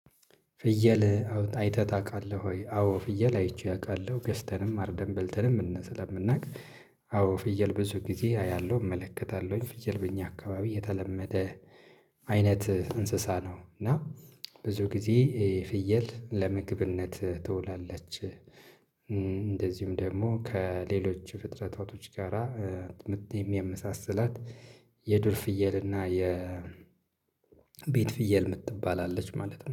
ፍየል አይተህ ታውቃለህ ወይ? አዎ ፍየል አይቼ አውቃለሁ። ገዝተንም አርደን በልተንም ስለምናውቅ ፍየል ብዙ ጊዜ አያለሁ እመለከታለሁኝ። ፍየል በእኛ አካባቢ የተለመደ አይነት እንስሳ ነው። እና ብዙ ጊዜ ፍየል ለምግብነት ትውላለች። እንደዚሁም ደግሞ ከሌሎች ፍጥረታቶች ጋራ የሚያመሳስላት የዱር ፍየል እና የቤት ፍየል የምትባል አለች ማለት ነው።